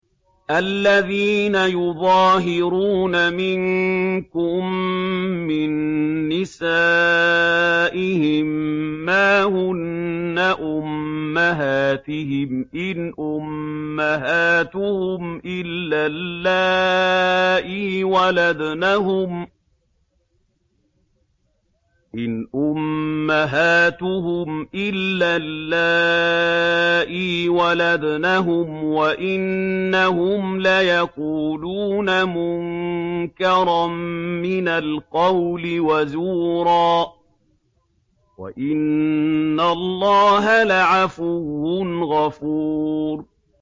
الَّذِينَ يُظَاهِرُونَ مِنكُم مِّن نِّسَائِهِم مَّا هُنَّ أُمَّهَاتِهِمْ ۖ إِنْ أُمَّهَاتُهُمْ إِلَّا اللَّائِي وَلَدْنَهُمْ ۚ وَإِنَّهُمْ لَيَقُولُونَ مُنكَرًا مِّنَ الْقَوْلِ وَزُورًا ۚ وَإِنَّ اللَّهَ لَعَفُوٌّ غَفُورٌ